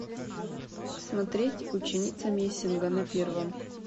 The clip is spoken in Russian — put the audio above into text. смотреть ученица мессинга на первом